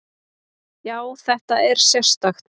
Já, þetta er sérstakt.